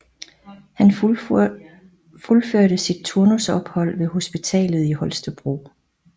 Han fuldførte sit turnusophold ved hospitalet i Holstebro